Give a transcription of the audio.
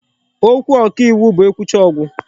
Okwu ọka iwu bụ e kwuchaa, ọ gụ.